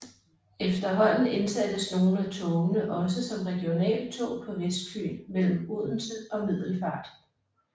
Efterhånden indsattes nogle af togene også som regionaltog på Vestfyn mellem Odense og Middelfart